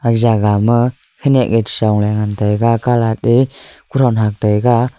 jaga ma kanyak ye chijong ley ngantaiga calat te kothon hagtaiga.